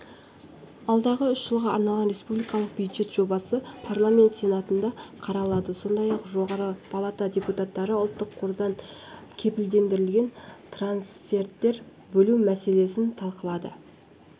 алдағы үш жылға арналған республикалық бюджет жобасы парламент сенатында қаралады сондай-ақ жоғарғы палата депутаттары ұлттық қордан кепілдендірілген трансферттер бөлу мәселелесін талқыға